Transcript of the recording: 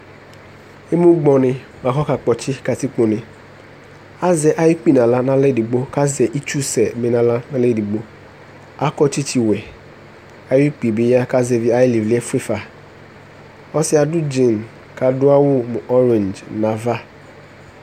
Emugbɔnɩ bʋa kʋ ɔkakpɔtsɩ katikpone Azɛ ayʋ ukpi nʋ aɣla nʋ aɣla edigbo kʋ azɛ itsusɛ bɩ nʋ aɣla nʋ aɣla edigbo Akɔ tsɩtsɩwɛ Ayʋ ukpi yɛ bɩ ya kʋ azɛvɩ ayʋ ɩlɩvlɩ yɛ fue fa Ɔsɩ yɛ adʋ dzin kʋ adʋ awʋ ɔrɛ̃dz nʋ ava